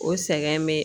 O sɛgɛn bɛ